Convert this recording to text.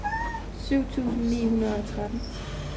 syv tusind ni hundrede og tretten